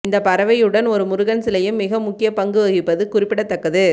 இந்த பறவையுடன் ஒரு முருகன் சிலையும் மிக முக்கிய பங்கு வகிப்பது குறிப்பிடத்தக்கது